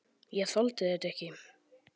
Ég þoldi þetta ekki.